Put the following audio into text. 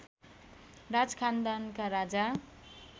राज खानदानका राजा